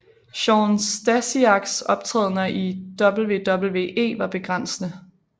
Shawn Stasiaks optrædener i WWE var begrænsede